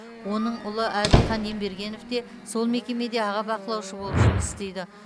оның ұлы әділхан ембергенов те сол мекемеде аға бақылаушы болып жұмыс істейді